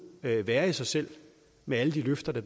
være være i sig selv med alle de løfter der